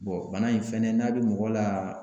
bana in fɛnɛ n'a bɛ mɔgɔ la